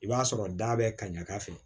I b'a sɔrɔ da bɛ ka ɲaga ka se